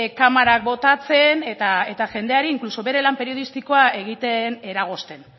kamarak botatzen eta jendeari inkluso bere lan periodistikoa egiten eragozten